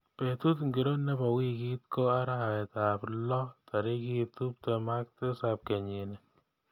Betut ngiro nebo wiikit ko arawetab loo tarik tuptem ak tisap kenyini